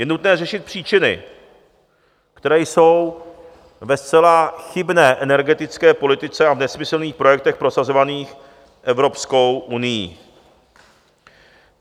Je nutné řešit příčiny, které jsou ve zcela chybné energetické politice a v nesmyslných projektech prosazovaných Evropskou unií.